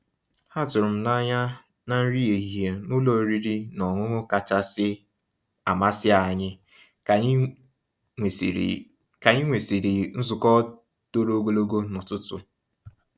Há tụ̀rụ́ m n'anyà ná nrí èhihie ná ụ́lọ̀ ọ̀rị́rị́ ná ọ̀ṅụ̀ṅụ̀ kàchàsị́ àmàsí ànyị́ kà ànyị́ nwèsị́rị́ kà ànyị́ nwèsị́rị́ nzukọ́ tòró ògòlógò n'ụ̀tụtụ̀.